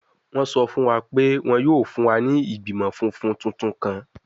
Wọn sọ fun wa pe wọn yoo fun wa ni igbimọ funfun tuntun kan